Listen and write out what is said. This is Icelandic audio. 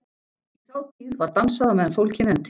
Í þá tíð var dansað á meðan fólkið nennti.